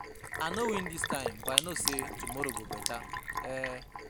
I no win dis time but I know say tomorrow go beta um